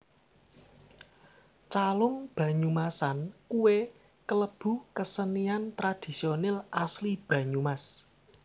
Calung Banyumasan kuwe kelebu kesenian tradisionil asli Banyumas